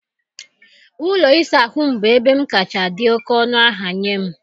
Ụlọ ịsa ahụ m bụ ebe m kacha dị oké ọnụ ahịa nye m.